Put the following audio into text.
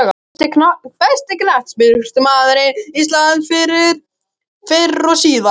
Besti knattspyrnumaður íslands fyrr og síðar?